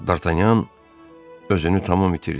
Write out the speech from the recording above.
Dartanyan özünü tamam itirdi.